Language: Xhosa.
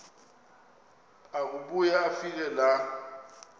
akubuya afike laa